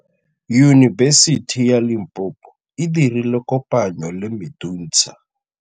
Yunibesiti ya Limpopo e dirile kopanyô le MEDUNSA.